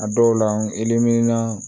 A dɔw la iminan